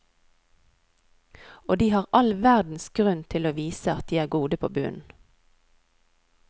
Og de har all verdens grunn til å vise at de er gode på bunnen.